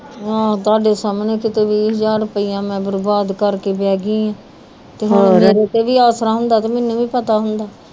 ਆਹ ਤਾਡੇ ਸਾਮਣੇ ਮੈਂ ਬਰਬਾਦ ਕਰ ਕੇ ਬੇਹ ਗਈ ਆ ਮੈਨੂੰ ਵੀ ਪਤਾ ਹੁੰਦਾ